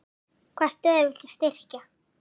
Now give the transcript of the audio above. Hvaða stöður viltu styrkja?